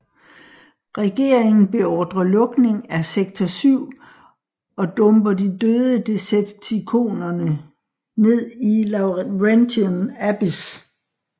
Regeringen beordre lukning af Sektor 7 og dumper de døde Decepticonerne ned i Laurentian Abyss